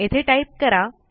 येथे टाईप करा